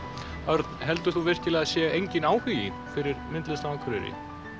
Örn heldur þú að það sé enginn áhugi fyrir myndlist á Akureyri